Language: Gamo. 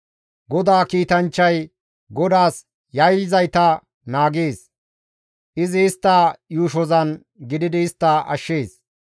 GODAA kiitanchchay GODAAS yayyizayta naagees; izi istta yuushozan gididi istta ashshees.